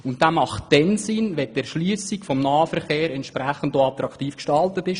Dieser macht dann Sinn, wenn die Erschliessung des Nahverkehrs entsprechend attraktiv gestaltet ist.